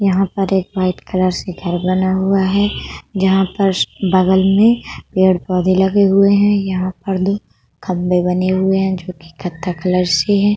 यहां पर white colour से एक घर बना हुआ है जहां पर बगल में पेड़-पौधे लगे हुए हैं। यहाँ पर दो खंबे बने हुए हैं जोकि कत्था कलर से है।